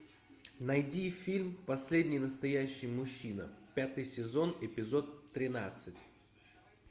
найди фильм последний настоящий мужчина пятый сезон эпизод тринадцать